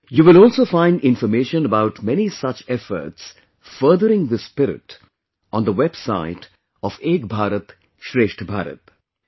You will also find information about many such efforts furthering this spirit, on the website of 'Ek BharatShreshtha Bharat'